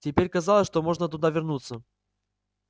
теперь казалось что можно туда вернуться